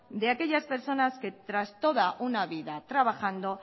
de aquellas personas que tras toda una vida trabajando